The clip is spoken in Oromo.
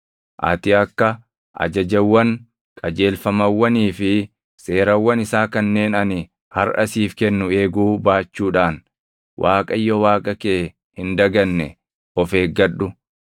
Ati akka ajajawwan, qajeelfamawwanii fi seerawwan isaa kanneen ani harʼa siif kennu eeguu baachuudhaan Waaqayyo Waaqa kee hin daganne of eeggadhu.